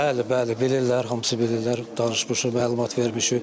Bəli, bəli, bilirlər, hamısı bilirlər, danışmışıq, məlumat vermişik.